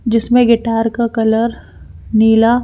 जिसमें गिटार का कलर नीला--